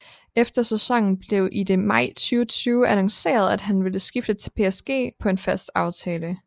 Efter sæsonen blev i det maj 2020 annonceret at han ville skifte til PSG på en fast aftale